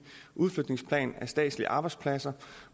udflytningsplan statslige arbejdspladser